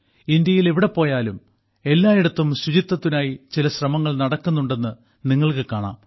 ഇന്ത്യയിൽ എവിടെ പോയാലും എല്ലായിടത്തും ശുചിത്വത്തിനായി ചില ശ്രമങ്ങൾ നടക്കുന്നുണ്ടെന്ന് നിങ്ങൾക്ക് കാണാം